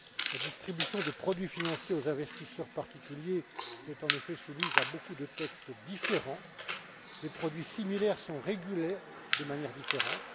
La distribution de produits financiers aux investisseurs particuliers est en effet soumise à beaucoup de textes différents. Des produits similaires sont régulés de manière différente.